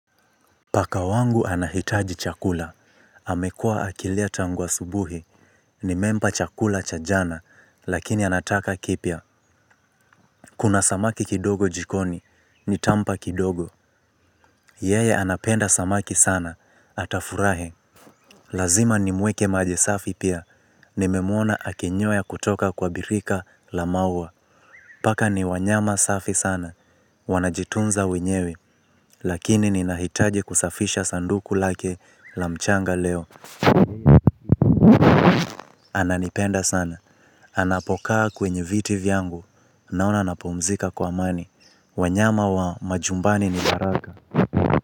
Paka wangu anahitaji chakula, amekuwa akilia tangu asubuhi, nimempa chakula cha jana, lakini anataka kipya. Kuna samaki kidogo jikoni, nitampa kidogo, yeye anapenda samaki sana, atafurahi. Lazima ni mweke maji safi pia, nimemuona akinyweya kutoka kwa birika la maua. Paka ni wanyama safi sana, wanajitunza wenyewe, lakini ninahitaji kusafisha sanduku lake la mchanga leo. Ananipenda sana. Anapokaa kwenye viti vyangu. Naona anapumzika kwa amani. Wanyama wa majumbani ni baraka.